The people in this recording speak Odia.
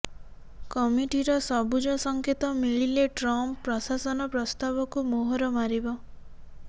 କମିଟିର ସବୁଜ ସଙ୍କେତ ମିଳିଲେ ଟ୍ରମ୍ପ ପ୍ରଶାସନ ପ୍ରସ୍ତାବକୁ ମୋହର ମାରିବ